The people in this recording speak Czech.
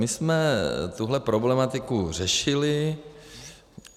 My jsme tuhle problematiku řešili.